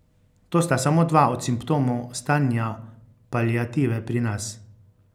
To sta samo dva od simptomov stanja paliative pri nas.